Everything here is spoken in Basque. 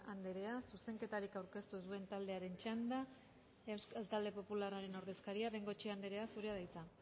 andrea zuzenketarik aurkeztu ez duen taldearen talde talde popularraren ordezkaria bengoechea andrea zurea da hitza